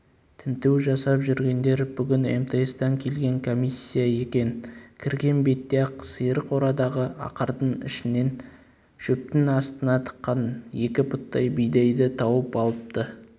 тінту жасап жүргендер бүгін мтс-тан келген комиссия екен кірген бетте-ақ сиыр қорадағы ақырдың ішінен шөптің астына тыққан екі пұттай бидайды тауып алыпты